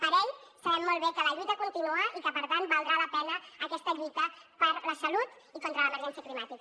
per ell sabem molt bé que la lluita continua i que per tant valdrà la pena aquesta lluita per la salut i contra l’emergència climàtica